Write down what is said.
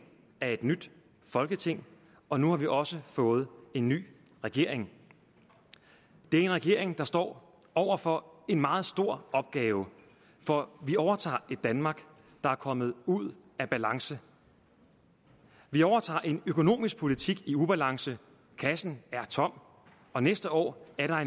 er et nyt folketing og nu har vi også fået en ny regering det er en regering der står over for en meget stor opgave for vi overtager et danmark der er kommet ud af balance vi overtager en økonomisk politik i ubalance kassen er tom og næste år er